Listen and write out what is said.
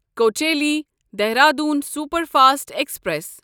Kochuveli Dehradun superfast express